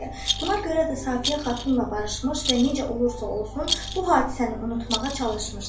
Buna görə də Safiyə xatunla barışmış və necə olursa olsun, bu hadisəni unutmağa çalışmışdı.